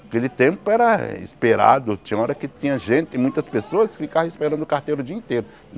Aquele tempo era esperado, tinha hora que tinha gente, muitas pessoas ficavam esperando o carteiro o dia inteiro.